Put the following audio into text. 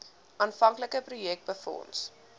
aanvanklike projek befonds